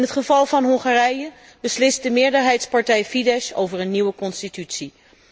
In het geval van Hongarije beslist de meerderheidspartij Fidesz over een nieuwe constitutie.